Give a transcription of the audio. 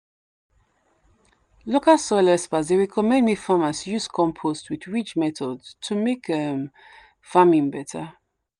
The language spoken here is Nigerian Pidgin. local soil experts dey recommend make farmers use compost with ridge method to make um farming better.